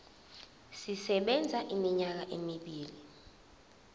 sisebenza iminyaka emibili